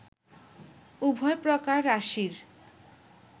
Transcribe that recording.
উভয় প্রকার রাশির